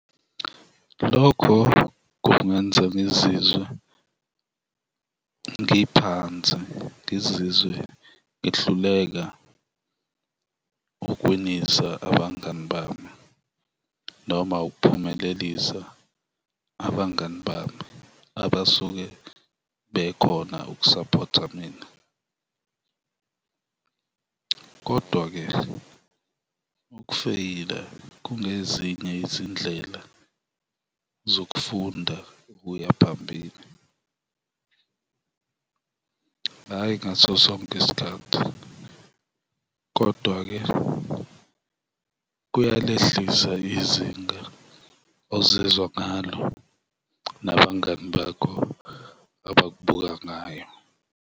Lokho kungenza ngizizwe ngiphansi, ngizizwe ngihluleka ukuwinisa abangani bami noma ukuphumelelisa abangani bami, abasuke bekhona ukusaphotha mina kodwa-ke ukufeyila kungezinye izindlela zokufunda ukuya phambili, hhayi ngaso sonke isikhathi kodwa-ke kuyalehlisa izinga ozizwa ngalo nabangani bakho abakubuka ngayo.